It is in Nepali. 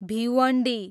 भिवन्डी